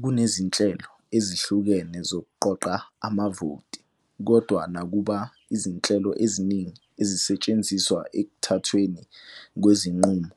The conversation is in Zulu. Kunezinhlelo ezihlukene zokuqoqa amavoti, kodwa nakuba izinhlelo eziningi ezisetshenziswa ekuthathweni kwezinqumo